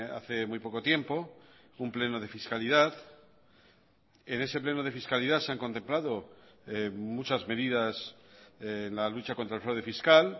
hace muy poco tiempo un pleno de fiscalidad en ese pleno de fiscalidad se han contemplado muchas medidas en la lucha contra el fraude fiscal